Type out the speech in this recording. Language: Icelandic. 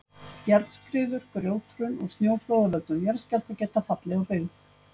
Jarðskriður, grjóthrun og snjóflóð af völdum jarðskjálfta geta fallið á byggð.